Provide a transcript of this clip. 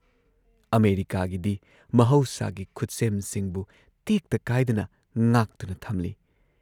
ꯑꯃꯦꯔꯤꯀꯥꯒꯤꯗꯤ ꯃꯍꯧꯁꯥꯒꯤ ꯈꯨꯠꯁꯦꯝꯁꯤꯡꯕꯨ ꯇꯦꯛꯇ ꯀꯥꯏꯗꯅ ꯉꯥꯛꯇꯨꯅ ꯊꯝꯂꯤ ꯫